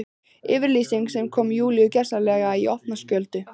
Yfirlýsing sem kom Júlíu gjörsamlega í opna skjöldu.